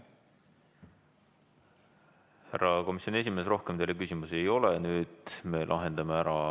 Härra komisjoni esimees, rohkem teile küsimusi ei ole.